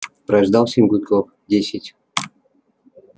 прождал семь гудков десять